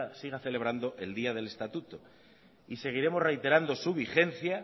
se siga celebrando el día del estatuto seguiremos reiterando su vigencia